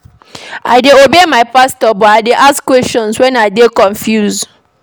I dey obey my pastor but I dey ask questions wen I dey confused.